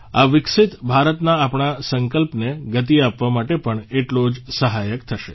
આ વિકસિત ભારતના આપણા સંકલ્પને ગતિ આપવા માટે પણ એટલો જ સહાયક થશે